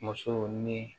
Musow ni